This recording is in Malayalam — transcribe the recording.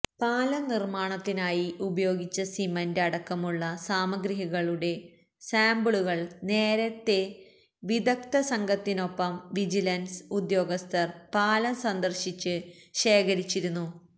പാലം നിര്മാണത്തിനായി ഉപയോഗിച്ച സിമന്റ് അടക്കമുള്ള സാമഗ്രികളുടെ സാമ്പിളുകള് നേരത്തെ വിദഗ്ദ സംഘത്തിനൊപ്പം വിജിലന്സ് ഉദ്യോഗസ്ഥര് പാലം സന്ദര്ശിച്ച് ശേഖരിച്ചിരുന്നു